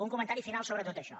un comentari final sobre tot això